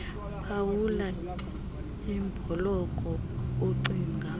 phawula ibhloko ocinga